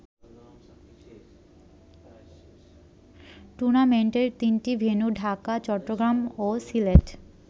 টুর্নামেন্টের তিনটি ভেন্যু ঢাকা, চট্টগ্রাম ও সিলেট।